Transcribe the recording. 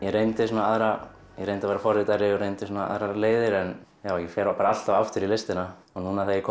reyndi svona aðra ég reyndi að vera forritari og reyndi svona aðrar leiðir en já ég fer bara alltaf aftur í listina og núna þegar ég